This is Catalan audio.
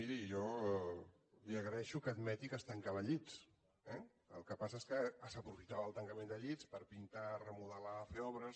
miri jo li agraeixo que admeti que es tancaven llits eh el que passa és que s’aprofitava el tancament de llits per pintar remodelar fer obres